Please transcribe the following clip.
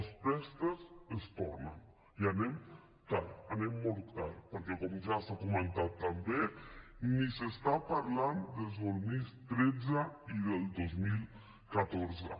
els préstecs es tornen i anem tard anem molt tard perquè com ja s’ha comentat també ni s’està parlant del dos mil tretze ni del dos mil catorze